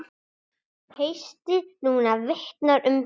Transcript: Haustið núna vitnar um það.